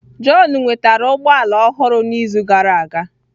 John nwetara ụgbọ ala ọhụrụ n'izu gara aga